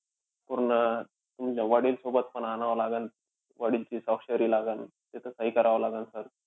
पूर्ण, तुमच्या वडीलसोबत पण आनावं लागन. वडीलची स्वाक्षरी लागन. इथे सही करावी लागन sir